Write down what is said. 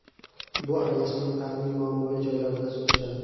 Bu aralashmani tananing muammoli joylariga surishadi.